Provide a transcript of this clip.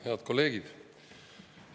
Head kolleegid!